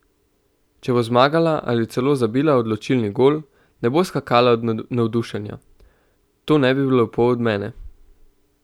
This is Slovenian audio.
Če bo zmagala ali celo zabila odločilni gol, ne bo skakala od navdušenja: "To ne bi bilo lepo od mene.